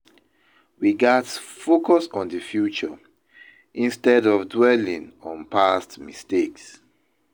We gats focus on the future instead of dwelling on past mistakes.